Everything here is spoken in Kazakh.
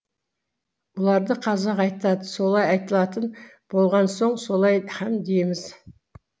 бұларды қазақ айтады солай айтылатын болған соң солай һәм дейміз